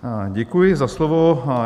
Děkuji za slovo.